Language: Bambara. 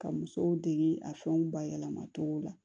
Ka musow dege a fɛnw bayɛlɛma cogo la